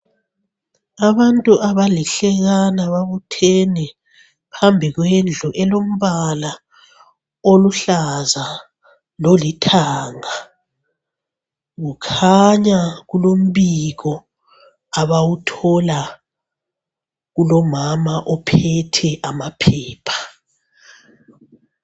Abantu abalihlekana babuthene phambi kwendlu elombala oluhlaza lolithanga kukhanya kulombiko abawuthola kulomama ophethe amaphepha